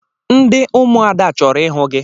Ndị ụmụada chọrọ ịhụ gị!